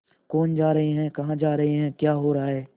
कौन जा रहे हैं कहाँ जा रहे हैं क्या हो रहा है